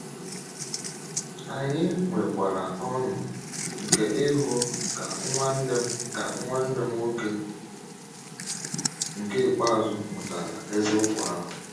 Anyị nwekwara ọ̀ṅụ̀ nke ịhụ ka nwanne m ka nwanne m nwoke nke ikpeazụ mụtara eziokwu ahụ.